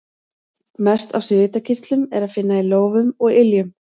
Mest af svitakirtlum er að finna í lófum og iljum.